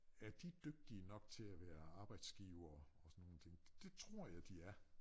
Er de dygtige nok til at være arbejdsgivere og sådan nogen ting det tror jeg de er